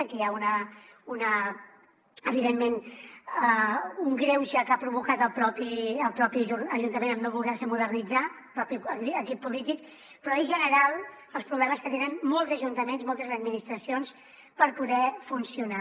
aquí hi ha evidentment un greuge que ha provocat el propi ajuntament en no voler se modernitzar el propi equip polític però són generals els problemes que tenen molts ajuntaments moltes administracions per poder funcionar